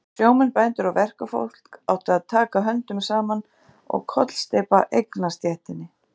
Sjómenn, bændur og verkafólk áttu að taka höndum saman og kollsteypa eignastéttinni.